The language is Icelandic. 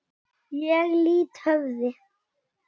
Ég lýt höfði.